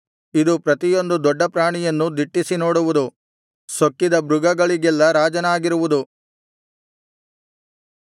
ಇದು ಪ್ರತಿಯೊಂದು ದೊಡ್ಡ ಪ್ರಾಣಿಯನ್ನೂ ದಿಟ್ಟಿಸಿ ನೋಡುವುದು ಸೊಕ್ಕಿದ ಮೃಗಗಳಿಗೆಲ್ಲಾ ರಾಜನಾಗಿರುವುದು